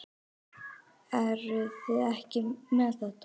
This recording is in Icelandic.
Eruð þið ekki með þetta?